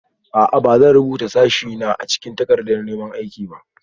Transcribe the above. A'a. Ba zan rubuta sashena a cikin takardar neman aiki ba